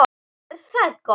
Og er það gott.